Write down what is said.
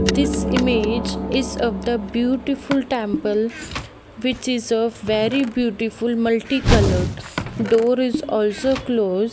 this image is of the beautiful temple which is of very beautiful multi coloured door is also close.